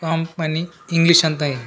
Com ಮನಿ English ಅಂತ ಇವೆ .